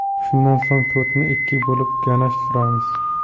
Shundan so‘ng tortni ikkiga bo‘lib, ganash suramiz.